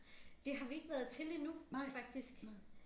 Det har vi ikke været til endnu faktisk